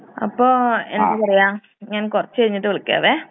അപ്പോ എന്താ പറയാ ഞാൻ കൊറച്ച് കഴിഞ്ഞിട്ട് വിളിക്കാവേ.